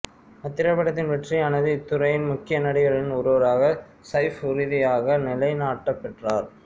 அத்திரைப்படத்தின் வெற்றியானது இத்துறையின் முக்கிய நடிகர்களில் ஒருவராக சைஃப் உறுதியாக நிலைநாட்டப்பெற்றார்